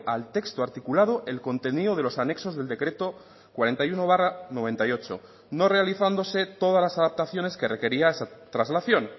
al texto articulado el contenido de los anexos del decreto cuarenta y uno barra noventa y ocho no realizándose todas las adaptaciones que requería esa traslación